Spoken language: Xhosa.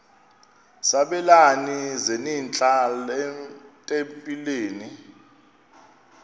sabelani zenihlal etempileni